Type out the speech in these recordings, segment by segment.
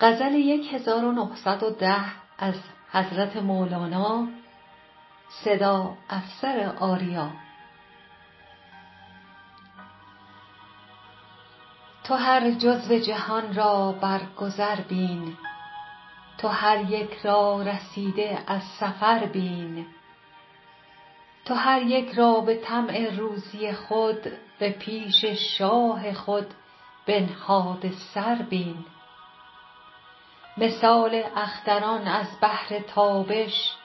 تو هر جزو جهان را بر گذر بین تو هر یک را رسیده از سفر بین تو هر یک را به طمع روزی خود به پیش شاه خود بنهاده سر بین مثال اختران از بهر تابش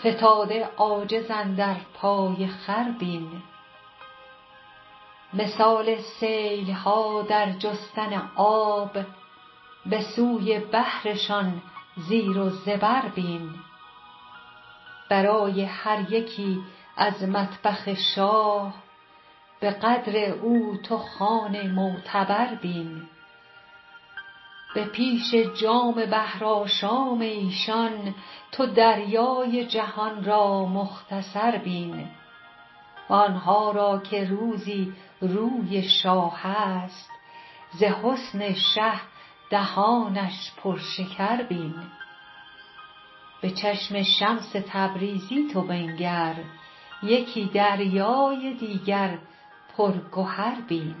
فتاده عاجز اندر پای خور بین مثال سیل ها در جستن آب به سوی بحرشان زیر و زبر بین برای هر یکی از مطبخ شاه به قدر او تو خوان معتبر بین به پیش جام بحرآشام ایشان تو دریای جهان را مختصر بین وان ها را که روزی روی شاه است ز حسن شه دهانش پرشکر بین به چشم شمس تبریزی تو بنگر یکی دریای دیگر پرگهر بین